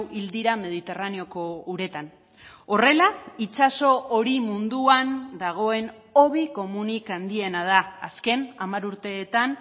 hil dira mediterraneoko uretan horrela itsaso hori munduan dagoen hobi komunik handiena da azken hamar urteetan